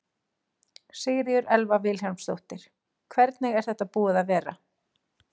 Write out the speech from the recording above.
Sigríður Elva Vilhjálmsdóttir: Hvernig er þetta búið að vera?